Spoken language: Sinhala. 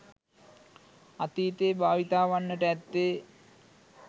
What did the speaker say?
අතීතයේ භාවිතා වන්නට ඇත්තේ